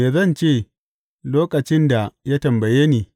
Me zan ce lokacin da ya tambaye ni?